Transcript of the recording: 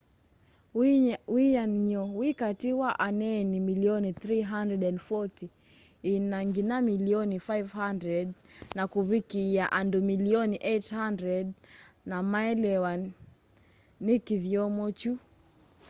wĩanany'o wĩ katĩ wa aneeni milioni 340 ĩna nginya milioni 500 na kuvikiia andu milioni 800 no maelewa kĩthyomo kĩu